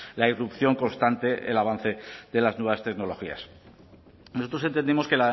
la irrupción constante el avance de las nuevas tecnologías nosotros entendemos que